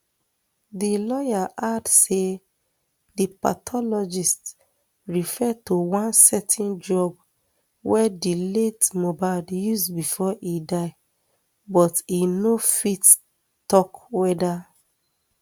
di lawyer add say di pathologist refer to one certain drug wey di late mohbad use bifor e die but e no fit tok weda